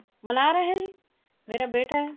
ਮਨਾ ਰਿਹਾ ਜੀ ਮੇਰਾ ਬੇਟਾ ਹੈ